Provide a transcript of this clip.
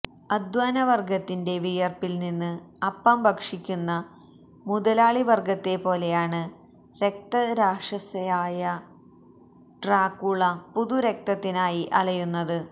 അധ്വാനവർഗത്തിന്റെ വിയർപ്പിൽ നിന്ന് അപ്പം ഭക്ഷിക്കുന്ന മുതലാളിവർഗത്തെപ്പോലെയാണ് രക്തരക്ഷസായ ഡ്രാക്കുള പുതുരക്തത്തിനായി അലയുന്നത്